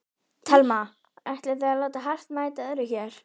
Telma: Ætlið þið að láta hart mæta hörðu hér?